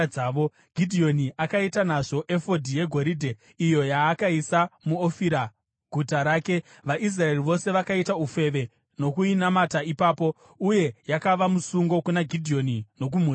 Gidheoni akaita nazvo efodhi yegoridhe iyo yaakaisa muOfira, guta rake. VaIsraeri vose vakaita ufeve nokuinamata ipapo, uye yakava musungo kuna Gidheoni nokumhuri yake.